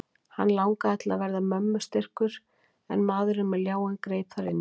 Hann langaði til að verða mömmu styrkur en maðurinn með ljáinn greip þar inn í.